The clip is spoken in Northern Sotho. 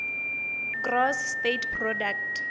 gross state product